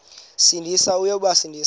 sindisi uya kubasindisa